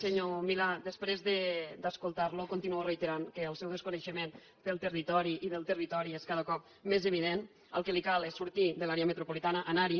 senyor milà després d’escoltar lo continuo reiterant que el seu desconeixement del territori és cada cop més evident que el que li cal és sortir de l’àrea metropolitana anar hi